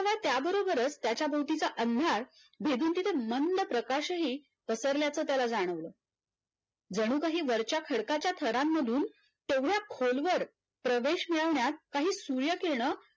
खरोखरच त्याच्या भोवतीच्या अंधार भेदून तिथे मंद प्रकाशही पराल्याच त्याला जाणवलं जणूकाही वरच्या खडकांच्या थरांमधून मधून तेवढ्या खोलवर प्रवेश मिळवण्यात काही सूर्यकिरनं